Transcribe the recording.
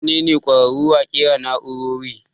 Su wane ne ƙwararu a ƙera nau'rori?